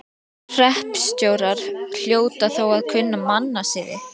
Hreppstjórar hljóta þó að kunna mannasiði.